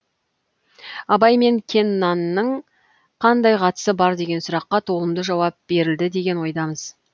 абай мен кеннанның қандай қатысы бар деген сұраққа толымды жауап берілді деген ойдамыз